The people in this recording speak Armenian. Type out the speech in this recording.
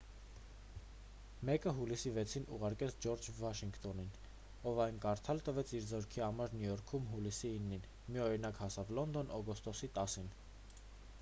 մեկը հուլիսի 6-ին ուղարկվեց ջորջ վաշինգտոնին ով այն կարդալ տվեց իր զորքի համար նյու յորքում հուլիսի 9-ին մի օրինակ հասավ լոնդոն օգոստոսի 10-ին